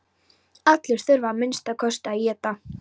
Allir þurfa að minnsta kosti að éta.